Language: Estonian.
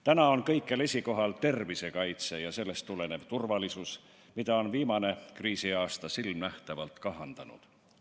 Täna on kõikjal esikohal tervisekaitse ja sellest tulenev turvalisus, mida on viimane kriisiaasta silmanähtavalt kahandanud.